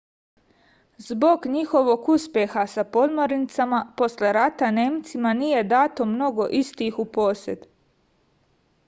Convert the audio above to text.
zbog njihovog uspeha sa podmornicama posle rata nemcima nije dato mnogo istih u posed